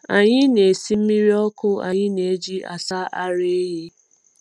Anyị na-esi mmiri ọkụ anyị na-eji asa ara ehi.